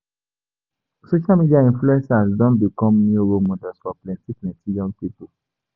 Social media influencers don become new role models for plenty plenty young pipo.